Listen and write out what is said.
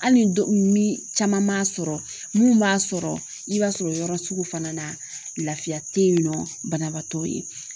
Hali ni caman m'a sɔrɔ mun b'a sɔrɔ , 'i b'a sɔrɔ o yɔrɔ sugu fana na lafiya tɛ yen nɔ banabaatɔ ye